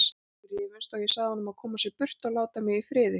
Við rifumst og ég sagði honum að koma sér burt og láta mig í friði.